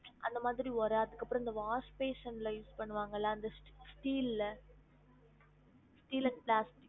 அந்த மாதிரி ஒர அதுக்கு அப்றம் இந்த wash basin ல use பண்ணுவாங்கள அந்த ste~ steel ல steel and plastics